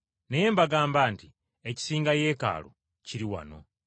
Naye mbagamba nti ekisinga Yeekaalu kiri wano.